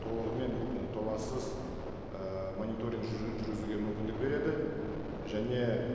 толығымен і толассыз і мониторинг жүргізуге мүмкіндік береді және